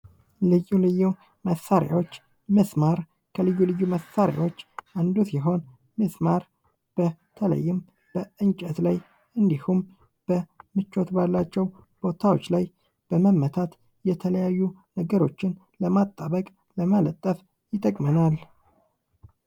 ልዩ ልዩ መሳሪያዎች ሚስማር ከልዩ ልዩ መሳሪያዎች አንዱ ሲሆን ሚስማር በተለይም በእንጨት ላይ እንዲሁም በምቾት ባላቸው ቦታዎች ላይ በመመታት የተለያዩ ነገሮችን ለማጣበቅ፣ ለመለጠፍ ይጠቅመናል።